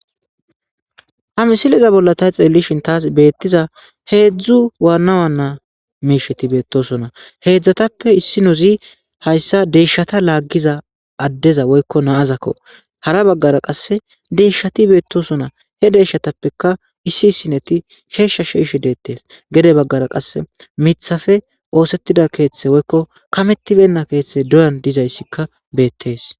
ha misiliza bolla tay xeellishin taas beettiza heedzdzu waannawa naa miisheti beettosona heedzdzatappe issi nozi hayssa deyshata laaggiza addeza woykko naazakko hara baggara qasse deyshshati beettosona he deeshatappeka issi sineti sheeshsha sheishe deettees gede baggara qass mithafe oosettida keeththe woykko kamettibenna keeththe doyan dizayssikka beettees